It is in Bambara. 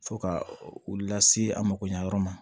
Fo ka u lase a makoɲɛ yɔrɔ ma